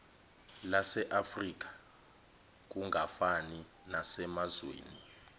laseafrika kungafani nasemazweni